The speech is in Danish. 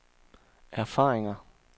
erfaringer